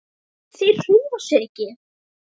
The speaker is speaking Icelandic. Þeir hreyfa sig ekki!